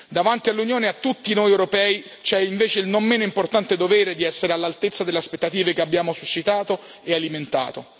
Davanti all'Unione e a tutti noi europei c'è invece il non meno importante dovere di essere all'altezza delle aspettative che abbiamo suscitato e alimentato.